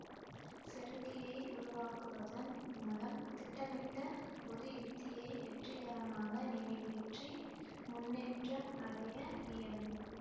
செருக்கியை உருவாக்குவதன் மூலம் திட்டமிட்ட ஒரு உத்தியை வெற்றிகரமாக நிறைவேற்றி முன்னேற்றம் அடைய இயலும்